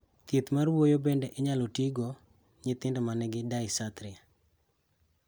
Thieth mar wuoyo bende inyalo tii go nyithindo manigi dysarthria